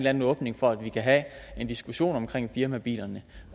anden åbning for at vi kan have en diskussion om firmabilerne